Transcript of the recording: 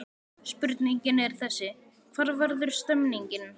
Spurningin er þessi: Hvar verður stemningin?